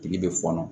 Tile bɛ fɔnɔ